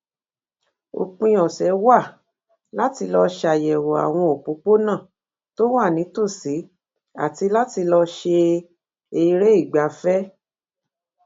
òpin òsè wa láti lọ ṣàyèwò àwọn òpópónà tó wà nítòsí àti láti lọ ṣe ereigbafẹ